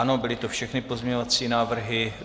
Ano, byly to všechny pozměňovací návrhy.